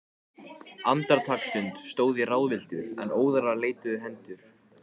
Andartaksstund stóð ég ráðvilltur, en óðara leituðu hendur